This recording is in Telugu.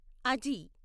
అజి